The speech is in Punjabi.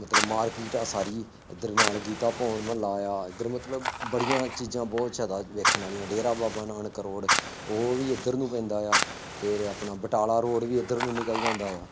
ਮਤਲਬ market ਆ ਸਾਰੀ, ਇੱਧਰ ਨਾਲ ਗੀਤਾ ਪੌਣ ਮੁਹੱਲਾ ਆ, ਇੱਧਰ ਮਤਲਬ ਬੜੀਆਂ ਚੀਜ਼ਾਂ ਬਹੁਤ ਅੱਛਾ ਵੇਖਣ ਵਾਲੀਆਂ, ਡੇਰਾ ਬਾਬਾ ਨਾਨਕ ਰੋਡ, ਉਹ ਵੀ ਇੱਧਰ ਨੂੰ ਪੈਂਦਾ ਆ, ਫੇਰ ਆਪਣਾ ਬਟਾਲਾ ਰੋਡ ਵੀ ਇੱਧਰ ਨੂੰ ਨਿਕਲ ਜਾਂਦਾ ਹੈ।